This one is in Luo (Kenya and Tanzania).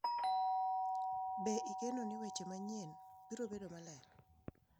Be igeno ni weche manyien biro bedo maler?